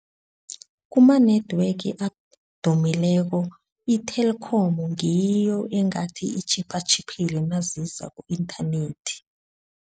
Kuma-network adumileko i-Telkom ngiyo engathi itjhipha tjhiphile naziza ku-inthanethi.